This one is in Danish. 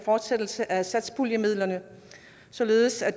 fortsættelse af satspuljemidlerne således at